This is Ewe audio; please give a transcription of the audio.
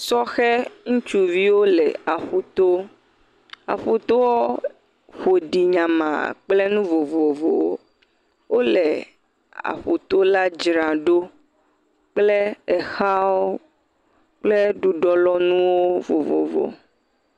Sɔhe ŋutsuviwo le aƒu to, aƒu toɔ ƒo ɖi nyamaa kple nu vovovowo, wole aƒu to la dzra ɖo kple exawo kple ɖuɖɔlɔnuwo vovovo.